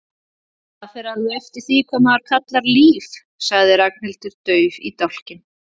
Það fer alveg eftir því hvað maður kallar líf sagði Ragnhildur dauf í dálkinn.